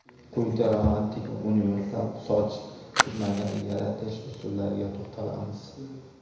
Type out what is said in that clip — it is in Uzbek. Quyida romantik va universal soch turmagini yaratish usullariga to‘xtalamiz.